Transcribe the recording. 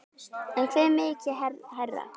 En hve mikið hærra?